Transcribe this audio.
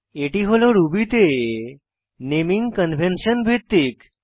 এটি হল রুবি তে নেমিং কনভেন্সন ভিত্তিক